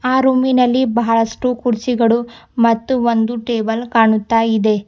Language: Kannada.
ಆ ರೂಮಿ ನಲ್ಲಿ ಬಹಳಷ್ಟು ಕುರ್ಚಿಗಳು ಮತ್ತು ಒಂದು ಟೇಬಲ್ ಕಾಣುತ್ತಾ ಇದೆ.